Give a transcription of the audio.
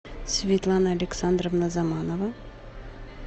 светлана александровна заманова